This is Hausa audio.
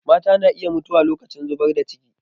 Mata na iya mutuwa lokacin zubar da ciki